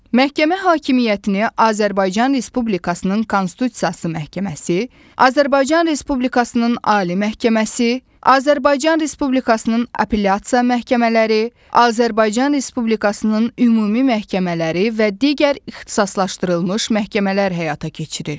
Məhkəmə hakimiyyətini Azərbaycan Respublikasının Konstitusiya Məhkəməsi, Azərbaycan Respublikasının Ali Məhkəməsi, Azərbaycan Respublikasının apelyasiya məhkəmələri, Azərbaycan Respublikasının ümumi məhkəmələri və digər ixtisaslaşdırılmış məhkəmələr həyata keçirir.